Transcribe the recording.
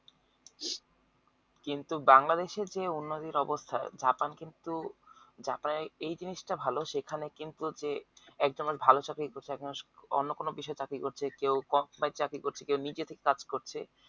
কিন্তু বাংলাদেশের যে উন্নতির অবস্থা জাপান কিন্তু জাপান এর জিনিষটা ভালো সেখানে কিন্তু যে একজন বেশ ভালো চাকরি করছে একজন অন্য কোনো বিষয়ে চাকরি করছে কেও কেও নিজে থেকে কাজ করছে